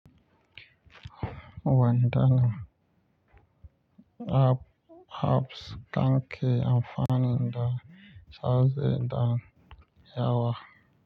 Wandanin ab-abs kanke amfani da sauzi da yawa.